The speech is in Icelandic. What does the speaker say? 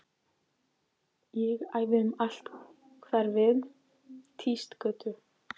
Ég æði um allt hverfið, Týsgötu